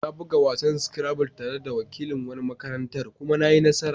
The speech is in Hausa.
Na buga wasan Scrabble tare da wakilin wani makarantar kuma na yi nasara.